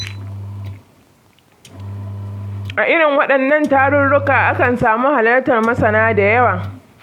A irin waɗannan tarurruka, akan samu halartar masana da yawa.